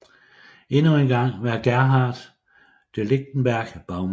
Endnu engang var Gerhard de Lichtenberg bagmanden